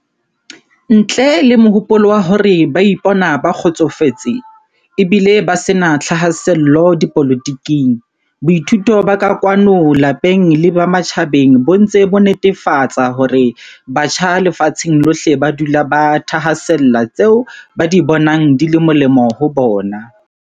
Ntle le mohopolo wa hore ba ipona ba kgotsofetse, e bile ba se na thahasello dipolotiking, boithuto ba kwano lapeng le ba matjhabeng bo ntse bo netefa tsa hore batjha lefatsheng lohle ba dula ba thahasella tseo ba di bonang di le molemo ho bona.